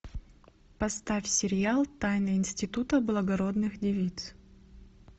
поставь сериал тайны института благородных девиц